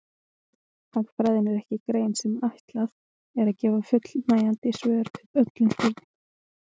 Hagfræðin er ekki grein sem ætlað er að gefa fullnægjandi svör við öllum spurningum.